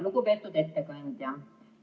Lugupeetud ettekandja!